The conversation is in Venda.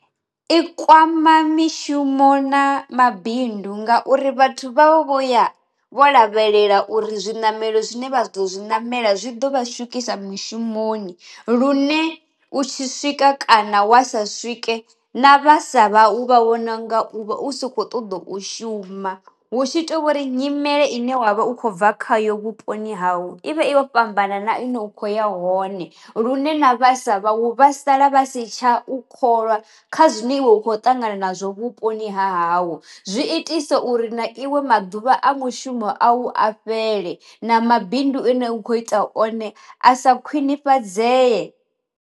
I kwama mishumo na mabindu ngauri vhathu vha vho vho ya vho lavhelela uri zwi namelo zwine vha zwi ḓo zwi namela zwi ḓo vha swikisa mishumoni lune u tshi swika kana wa sa swike na vhasa vhau vha vhona u nga uvha u sa kho ṱoḓa u shuma, hu tshi to vhori nyimele ine wavha u kho bva khayo vhuponi hau i vha i yo fhambana na ine u kho ya hone lune na vhasa vha u vha sala vhasi tsha u kholwa kha zwine iwe u kho ṱangana nazwo vhuponi ha ha hau, zwi itisa uri na iwe maḓuvha a mushumo a u a fhele na mabindu ine u kho ita one a sa khwinifhadzeye.